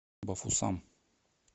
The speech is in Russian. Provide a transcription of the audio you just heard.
бафусам